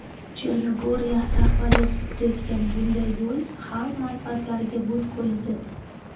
Chernogoriya rahbariyati tutayotgan bunday yo‘l xalq manfaatlariga butkul zid.